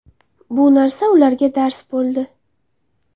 Bu narsa ularga dars bo‘ldi.